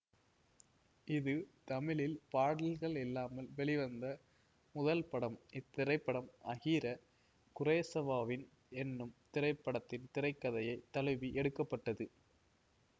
இது தமிழில் பாடல்கள் இல்லாமல் வெளிவந்த முதல் படம் இத்திரைப்படம் அகிர குரேசவாவின் என்னும் திரைப்படத்தின் திரை கதையை தழுவி எடுக்க பட்டது